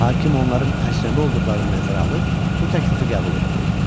Hakim onların əcnəbi olduqlarını nəzərə alıb, bu təklifi qəbul etdi.